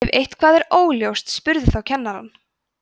ef eitthvað er óljóst spurðu þá kennarann